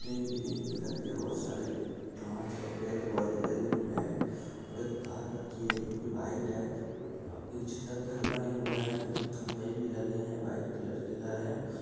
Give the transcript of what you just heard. Green green colour की बहोत सारी घास और पेड़-पौधे लगे हुए है और एक कार रखी है जो की वाइट है पीछे तक घर बने हुए है जो की खंबे भी लगे है वाइट कलर के घर है।